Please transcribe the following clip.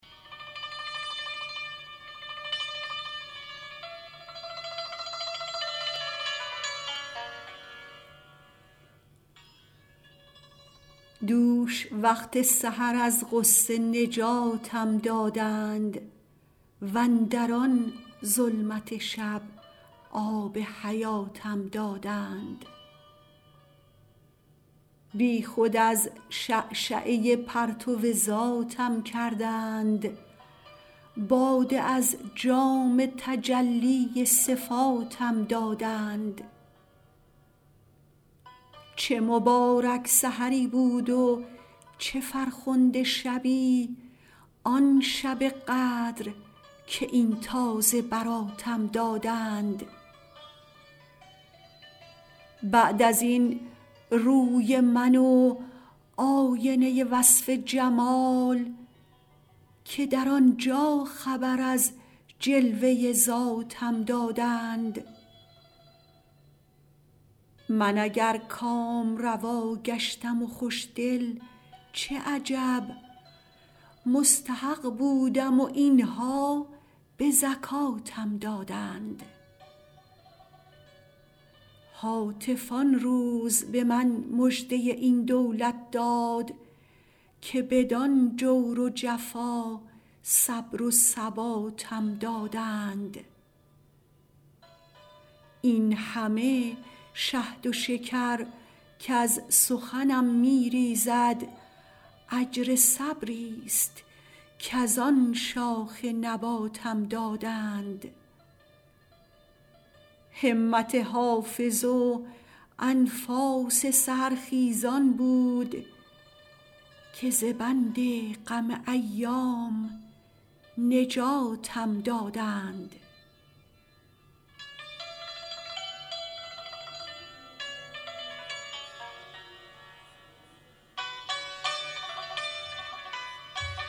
دوش وقت سحر از غصه نجاتم دادند واندر آن ظلمت شب آب حیاتم دادند بی خود از شعشعه پرتو ذاتم کردند باده از جام تجلی صفاتم دادند چه مبارک سحری بود و چه فرخنده شبی آن شب قدر که این تازه براتم دادند بعد از این روی من و آینه وصف جمال که در آن جا خبر از جلوه ذاتم دادند من اگر کامروا گشتم و خوش دل چه عجب مستحق بودم و این ها به زکاتم دادند هاتف آن روز به من مژده این دولت داد که بدان جور و جفا صبر و ثباتم دادند این همه شهد و شکر کز سخنم می ریزد اجر صبری ست کز آن شاخ نباتم دادند همت حافظ و انفاس سحرخیزان بود که ز بند غم ایام نجاتم دادند